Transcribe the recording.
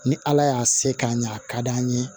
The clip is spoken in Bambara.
Ni ala y'a se k'a ɲɛ a ka d'an ye